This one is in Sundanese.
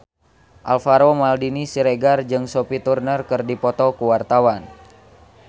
Alvaro Maldini Siregar jeung Sophie Turner keur dipoto ku wartawan